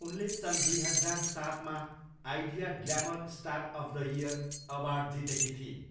उनले सन् दुई हजार सातमा Idea glamour star of the year award जितेकी थिइन्।